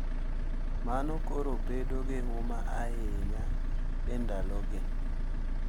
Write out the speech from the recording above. Mano koro bedo gi huma ahinya e ndalogi